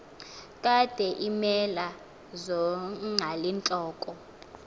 kade iimela zonqalintloko